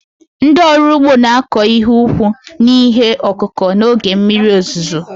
ndị ọrụ ugbo na-akọ ihe ka ukwuu n'ihe ọkụkụ ha n'oge mmiri ozuzo